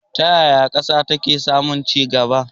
Ta yaya ƙasa take samun ci gaba?